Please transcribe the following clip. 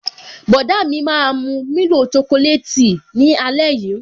Bọ̀dá mi máa mu milo chocolate tea ni ale yii